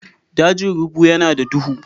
Dajin rubu yana da duhu.